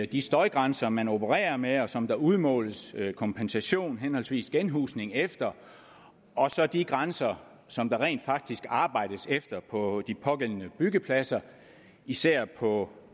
de støjgrænser man opererer med og som der udmåles kompensation henholdsvis genhusning efter og så de grænser som der rent faktisk arbejdes efter på de pågældende byggepladser især på